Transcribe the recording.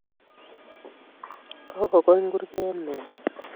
Kokokony kurget meet